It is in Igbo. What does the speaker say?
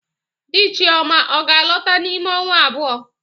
Di Chioma ọ ga-alọta n'ime ọnwa abụọ?